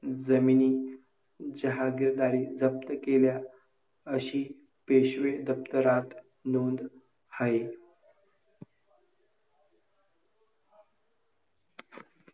ईश्वराने दिलेल्या सुंदर स्त्री जन्माचा उपयोग करताना. कधीच पंखातलं बळ कमी होऊ देऊ नका. थोर स्त्रियांचे विचार चारित्र्य सदैव स्मरणात ठेवा.